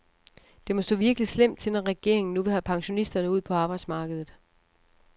Det må stå virkelig slemt til, når regeringen nu vil have pensionisterne ud på arbejdsmarkedet.